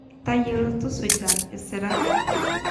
Tayiolo tusuja isirrat